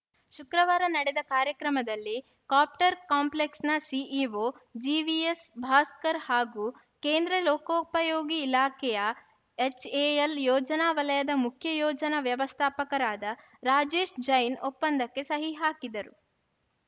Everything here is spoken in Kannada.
ಶುಕ್ರವಾರ ನಡೆದ ಕಾರ್ಯಕ್ರಮದಲ್ಲಿ ಕಾಪ್ಟರ್‌ ಕಾಂಪ್ಲೆಕ್ಸ್‌ನ ಸಿಇಒ ಜಿವಿಎಸ್‌ ಭಾಸ್ಕರ್‌ ಹಾಗೂ ಕೇಂದ್ರ ಲೋಕೋಪಯೋಗಿ ಇಲಾಖೆಯ ಎಚ್‌ಎಎಲ್‌ ಯೋಜನಾ ವಲಯದ ಮುಖ್ಯ ಯೋಜನಾ ವ್ಯವಸ್ಥಾಪಕರಾದ ರಾಜೇಶ್‌ ಜೈನ್‌ ಒಪ್ಪಂದಕ್ಕೆ ಸಹಿ ಹಾಕಿದರು